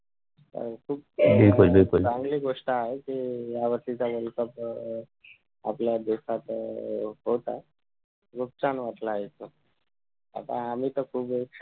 हि खुप चांगली चांगली गोष्ट आहे कि ह्या वर्षीचा world cup अं आपल्या देशात होत आहे खुप छान वाटलं ऐकून आता आम्ही कसं झालं